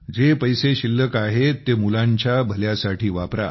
जे पैसे शिल्लक आहेत ते मुलांच्या भल्यासाठी वापरा